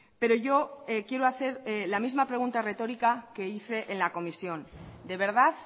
pero yo quiero hacer la misma pregunta retórica que hice en la comisión de verdad